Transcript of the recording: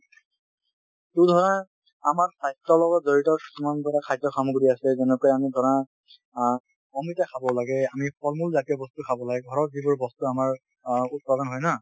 ধৰা আমাৰ স্বাস্থ্যৰ লগত জড়িত খাদ্য সামগ্ৰী আছে যেনেকৈ আমি ধৰা অ অমিতা খাব লাগে, ফলমূল জাতীয় বস্তু খাব লাগে, ঘৰত যিবোৰ বস্তু আমাৰ অ উৎপাদন হয় না